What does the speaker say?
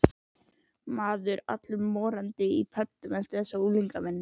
Maður er allur morandi í pöddum eftir þessa unglingavinnu.